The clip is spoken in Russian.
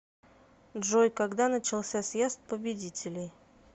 джой когда начался съезд победителей